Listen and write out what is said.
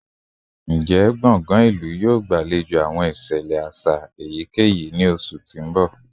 Njẹ square ilu yoo gbalejo awọn iṣẹlẹ aṣa eyikeyi ni oṣu ti n bọ?